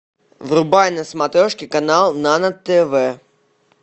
врубай на смотрешке канал нано тв